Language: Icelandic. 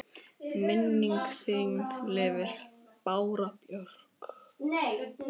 Minning þin lifir, Bára Björk.